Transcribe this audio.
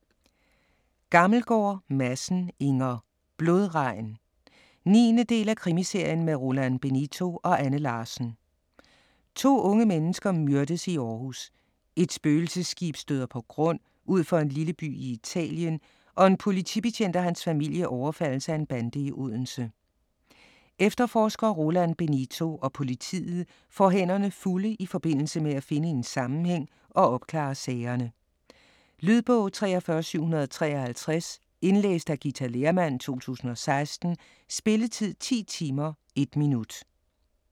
Gammelgaard Madsen, Inger: Blodregn 9. del af Krimiserien med Roland Benito og Anne Larsen. To unge mennesker myrdes i Aarhus, et spøgelsesskib støder på grund ud for en lille by i Italien og en politibetjent og hans familie overfaldes af en bande i Odense. Efterforsker Roland Benito og politiet får hænderne fulde i forbindelse med at finde en sammenhæng og opklare sagerne. Lydbog 43753 Indlæst af Ghita Lehrmann, 2016. Spilletid: 10 timer, 1 minut.